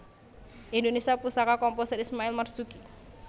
Indonesia Pusaka Komposer Ismail Marzuki